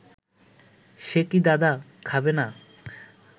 সে কি দাদা, খাবে না